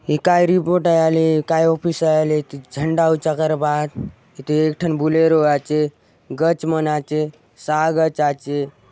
ये काय रिपोर्ट आय आले काय ऑफिस आय आले इति झंडा ऊँचा करबा आत इति एक ठन बुलेरो आचे गच मन आचे साह गच आचे।